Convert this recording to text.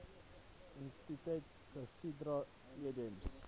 entiteit casidra edms